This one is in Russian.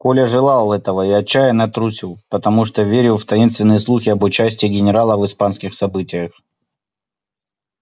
коля желал этого и отчаянно трусил потому что верил в таинственные слухи об участии генерала в испанских событиях